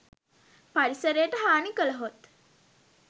පරිසරයට හානි කළහොත්